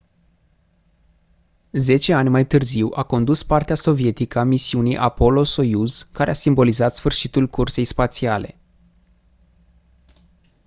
zece ani mai târziu a condus partea sovietică a misiunii apollo-soyuz care a simbolizat sfârșitul cursei spațiale